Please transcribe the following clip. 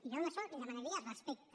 jo en això li demanaria respecte